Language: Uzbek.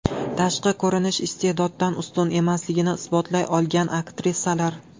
Tashqi ko‘rinish iste’doddan ustun emasligini isbotlay olgan aktrisalar .